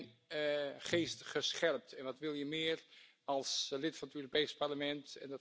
U hebt mijn geest gescherpt. Wat wil je meer als lid van het Europees Parlement?